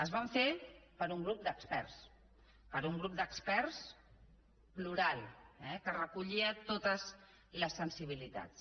es va fer per un grup d’experts per un grup d’experts plural eh que recollia totes les sensibilitats